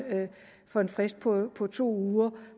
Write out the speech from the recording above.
for en frist på to uger